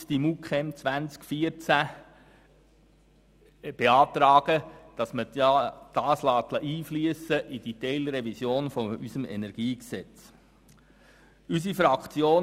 Deshalb beantragen wir, die MuKEn 2014 im Grundsatz in die Teilrevision unseres Energiegesetzes einfliessen zu lassen.